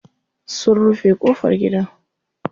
Sun rufe ƙofar gidan.